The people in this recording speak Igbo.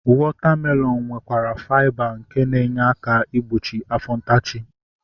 Wọta melọnu nwekwara faiba nke na-enyere aka igbochi afọ ntachi